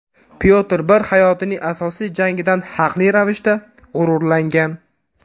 Pyotr I hayotining asosiy jangidan haqli ravishda g‘ururlangan.